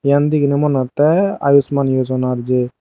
iyan deginey moneh hottey ayushman yojonar jei.